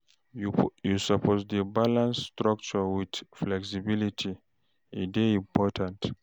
You suppose dey balance structure wit flexibility, e dey important